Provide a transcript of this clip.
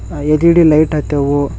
ಆ- L E D light ಹತ್ತ್ಯಾವು.